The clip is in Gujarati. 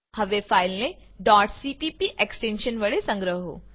હવે ફાઈલને cpp એક્સટેન્શન વડે સંગ્રહો